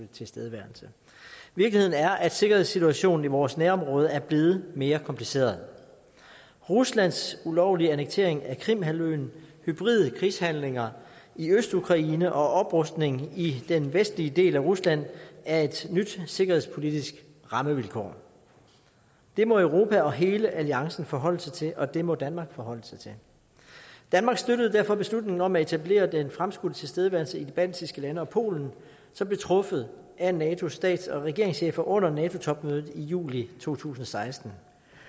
tilstedeværelse virkeligheden er at sikkerhedssituationen i vores nærområde er blevet mere kompliceret ruslands ulovlige annektering af krimhalvøen hybride krigshandlinger i østukraine og oprustning i den vestlige del af rusland er et nyt sikkerhedspolitisk rammevilkår det må europa og hele alliancen forholde sig til og det må danmark forholde sig til danmark støttede derfor beslutningen om at etablere den fremskudte tilstedeværelse i de baltiske lande og polen som blev truffet af natos stats og regeringschefer under nato topmødet i juli to tusind og seksten